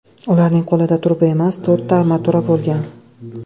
Ularning qo‘lida truba emas, to‘rtta armatura bo‘lgan.